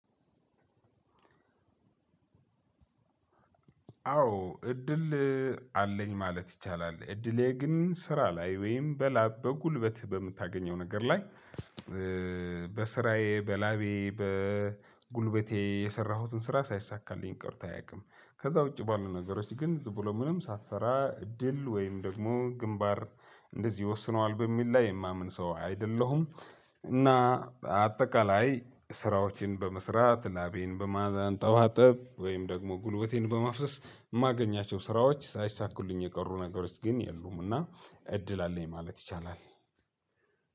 አዎ እድል አለኝ ማለት ይቻላል። እድሌ ግን ስራ ላይ ወይም በላብ በጉልበት በምታገኘው ነገር ላይ። በስራዬ በላቤ በጉልበቴ የሰራሁትን ስራ ሳይሳካልኝ ቀርቶ አያውቅም። ከዛ ውጪ ባሉ ነገሮች ግን ዝም ብሎ ምንም ሳትሰራ ድል ወይም ደግሞ ግንባር እንደዚህ ይወስነዋል የሚል ላይ የማምን ሰው አይደለሁም። እና አጠቃላይ ስራዎችን በመስራት ላቤን በማንጠባጠብ ወይም ደግሞ ጉልበቴን በማፍሰስ የማገኛቸው ስራዎች ሳይሳኩልኝ የቀሩ ነገሮች ግን የሉም። እና እድል አለኝ ማለት ይቻላል።